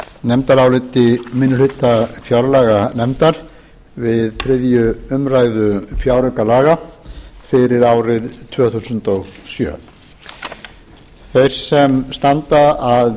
nefndaráliti minni hluta fjárlaganefndar við þriðju umræðu fjáraukalaga fyrir árið tvö þúsund og sjö þeir sem standa að